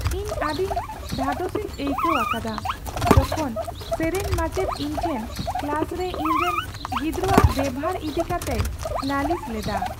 ᱤᱧ ᱟᱹᱰᱤᱧ ᱫᱷᱟᱫᱚᱥᱤᱧ ᱟᱹᱭᱠᱟᱹᱣ ᱟᱠᱟᱫᱟ ᱡᱚᱠᱷᱚᱱ ᱥᱮᱨᱮᱧ ᱢᱟᱪᱮᱫ ᱤᱧᱴᱷᱮᱱ ᱠᱞᱟᱥ ᱨᱮ ᱤᱧᱨᱮᱱ ᱜᱤᱫᱽᱨᱟᱹᱣᱟᱜ ᱵᱮᱵᱷᱟᱨ ᱤᱫᱤ ᱠᱟᱛᱮᱭ ᱞᱟᱹᱞᱤᱥ ᱞᱮᱫᱟ ᱾